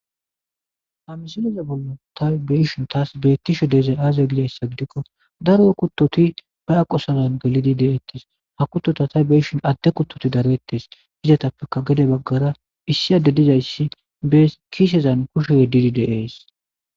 ha misileza bollo taw beishin taas beettisho deezay aazegliyayssa gidikko daro kuttoti ba aqosazan gelidi de7eettes ha kuttota tay beishin adde kuttoti darettes hizatappeka gede baggara issi adde dizayssi bee kiisezan kusho yeddidi deees